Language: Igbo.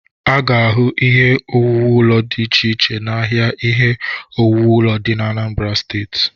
A ga-ahụ ihe owuwu ụlo dị ịche iche ahịa ihe owuwu ụlo dị Anambara Steeti.